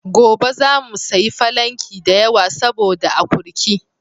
Gobe zamu sayi falanki da yawa saboda akurki.